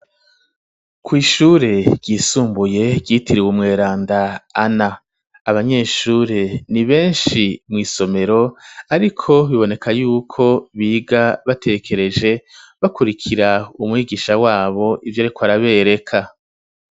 Koishure ryisumbuye ryitiriwe umweranda ana abanyeshure ni benshi mw'isomero, ariko biboneka yuko biga batekereje bakurikira umwigisha wabo ivyo, ariko arabereka.